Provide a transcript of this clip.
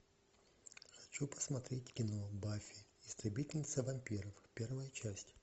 хочу посмотреть кино баффи истребительница вампиров первая часть